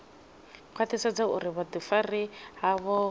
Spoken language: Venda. khwaṱhisedza uri vhuḓifari havho vhu